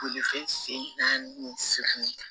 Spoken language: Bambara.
Bolifɛn sen naani silamɛ kan